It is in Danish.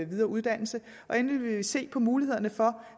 videre uddannelse og endelig vil vi se på mulighederne for